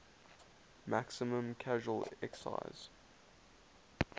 maximum casual excise